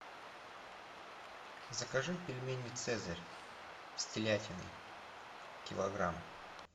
закажи пельмени цезарь с телятиной килограмм